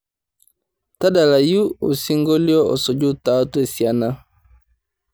tadalayu osingolio osuju teatua esiana